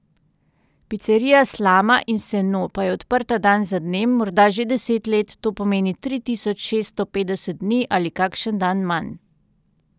Picerija Slama in seno pa je odprta dan za dnem, morda že deset let, to pomeni tri tisoč šeststo petdeset dni ali kakšen dan manj.